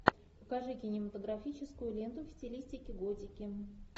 покажи кинематографическую ленту в стилистике готики